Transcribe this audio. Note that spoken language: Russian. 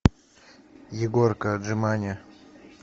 егорка отжимания